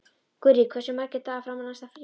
Gurrí, hversu margir dagar fram að næsta fríi?